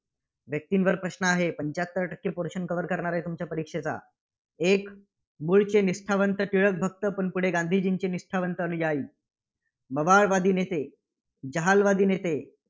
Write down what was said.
व्यक्तींवर प्रश्न आहे. पंच्याहत्तर टक्के portion cover करणार आहे, तुमच्या परीक्षेचा. एक मुळचे निष्ठावंत टिळकभक्त, पुढे गांधीजींचे निष्ठावंत अनुयायी, मवाळवादी नेते, जहालवादी नेते